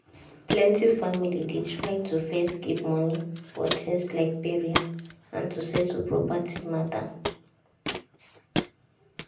plenty families dey try to first keep money for things like burial and to settle property matter.